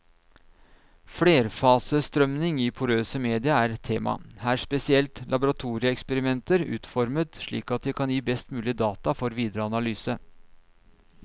Flerfasestrømning i porøse media er tema, her spesielt laboratorieeksperimenter utformet slik at de kan gi best mulige data for videre analyse.